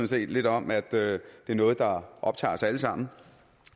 set lidt om at det er noget der optager os alle sammen